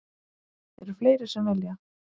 Eru fleiri sem vilja?